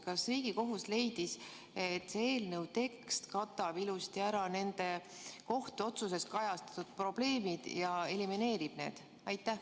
Kas Riigikohus leidis, et see eelnõu tekst katab ilusti ära nende otsuses kajastatud probleemid ja elimineerib need?